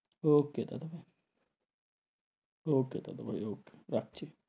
Okay দাদাভাই okay দাদাভাই okay রাখছি,